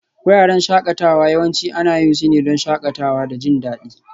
Wuraren shakatawa yawanci ana yin su ne don shakatawa da jin daɗi